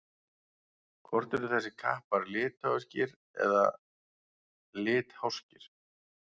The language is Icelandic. Hvort eru þessir kappar litháískir eða litháskir?